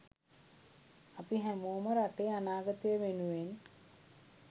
අපි හැමෝම රටේ අනාගතය වෙනුවෙන්